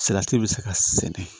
Salati bɛ se ka sɛnɛ